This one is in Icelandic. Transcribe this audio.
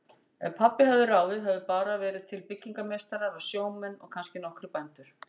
Ef pabbi hefði ráðið hefðu bara verið til byggingameistarar og sjómenn og kannski nokkrir bændur.